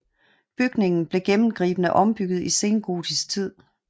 Bygningen blev gennemgribende ombygget i sengotisk tid